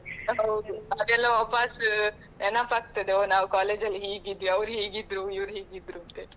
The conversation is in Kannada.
ಹೌದು ಅದೆಲ್ಲ ವಾಪಾಸ್ ನೆನೆಪಾಗ್ತದೆ ಒಹ್ ನಾವು college ಅಲ್ಲಿ ಹೀಗಿದ್ವಿಅವರು ಹೀಗಿದ್ರು ,ಇವರು ಹೀಗಿದ್ರು ಅಂತ ಹೇಳಿ.